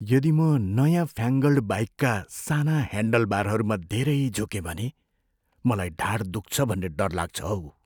यदि म नयाँ फ्यान्ग्लेड बाइकका साना ह्यान्डलबारहरूमा धेरै झुकेँ भने मलाई ढाड दुख्छ भन्ने डर लाग्छ हौ।